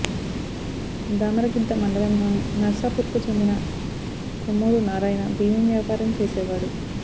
దామరగిద్ద మండలంలోని నర్సాపూర్కు చెందిన కొమ్మూరు నారాయణ బియ్యం వ్యాపారం చేసేవాడు